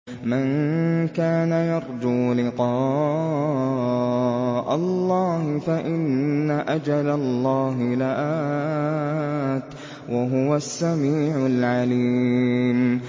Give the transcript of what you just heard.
مَن كَانَ يَرْجُو لِقَاءَ اللَّهِ فَإِنَّ أَجَلَ اللَّهِ لَآتٍ ۚ وَهُوَ السَّمِيعُ الْعَلِيمُ